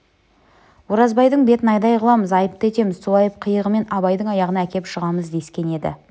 оразбайдың бетін айдай қыламыз айыпты етеміз сол айып-қиыбымен абайдың аяғына әкеп жығамыз дескен еді